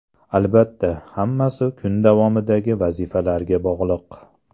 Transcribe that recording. Albatta, hammasi kun davomidagi vazifalarga bog‘liq.